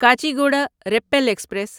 Kacheguda Repalle express